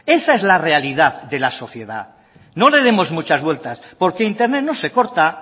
esa es la realidad de la sociedad no le demos muchas vueltas porque internet no se corta